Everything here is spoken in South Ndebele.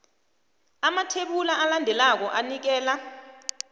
amathebula alandelako anikela